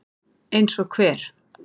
Eins og hver?